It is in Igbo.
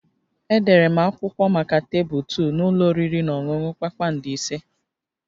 Edere m akwụkwọ maka tebụl 2 na ụlọ oriri na ọṅụṅụ kpakpando ise